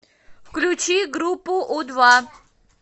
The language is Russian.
включи группу у два